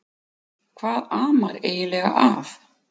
Hvað amar eiginlega að?